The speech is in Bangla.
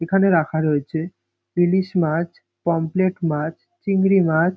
এখানে রাখা রয়েছে ইলিশ মাছ পমফ্রেট মাছ চিংড়ি মাছ।